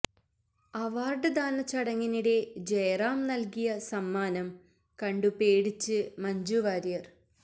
അവാര്ഡ്ദാന ചടങ്ങിനിടെ ജയറാം നൽകിയ സമ്മാനം കണ്ടു പേടിച്ചു മഞ്ജു വാര്യർ